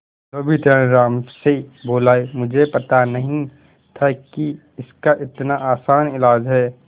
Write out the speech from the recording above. धोबी तेनालीराम से बोला मुझे पता नहीं था कि इसका इतना आसान इलाज है